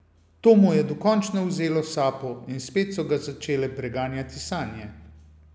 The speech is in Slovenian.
To mu je dokončno vzelo sapo in spet so ga začele preganjati sanje.